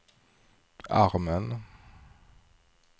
armen